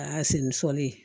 A y'a seni sɔli